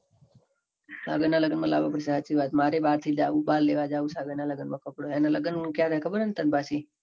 સાગર ના લગન માં લાવા પડશે. સાચી વાત મારે બાકી છે. હવે લેવા જાઉં છે. સાગર ના લગન માં કપડાં એના લગન ક્યારે છે. તને ખબર છે. ન પછી